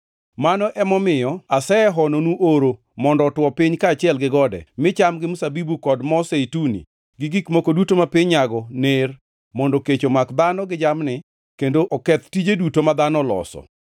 Mano emomiyo osehononu oro mondo otwo piny kaachiel gi gode, mi cham gi mzabibu kod mo zeituni, gi gik moko duto ma piny nyago ner, mondo kech omak dhano gi jamni, kendo oketh tije duto ma dhano oloso.”